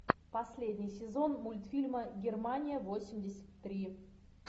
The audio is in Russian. последний сезон мультфильма германия восемьдесят три